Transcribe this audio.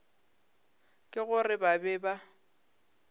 ke gore ba be ba